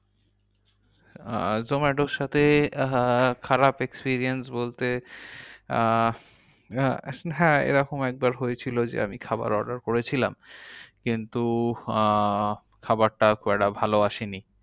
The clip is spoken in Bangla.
আহ জোম্যাটোর সাথে আহ খারাপ experience বলতে আহ হ্যাঁ এরকম একবার হয়েছিল যে আমি খাবার order করেছিলাম। কিন্তু আহ খাবারটা খুব একটা ভালো আসেনি।